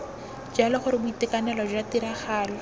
jalo gore boitekanelo jwa tiragalo